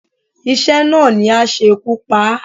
Iṣẹ́ náà ni á ṣekú pa á.